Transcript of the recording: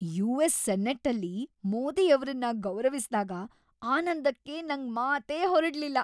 US. ಸೆನೆಟ್ಟಲ್ಲಿ ಮೋದಿಯವ್ರನ್ನ ಗೌರವಿಸ್ದಾಗ‌ ಆನಂದಕ್ಕೆ ನಂಗ್ ಮಾತೇ ಹೊರಡ್ಲಿಲ್ಲ.